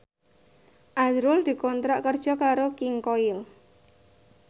azrul dikontrak kerja karo King Koil